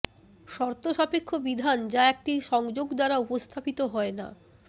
শর্তসাপেক্ষ বিধান যা একটি সংযোগ দ্বারা উপস্থাপিত হয় না